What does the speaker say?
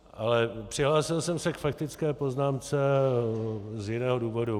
Ale přihlásil jsem se k faktické poznámce z jiného důvodu.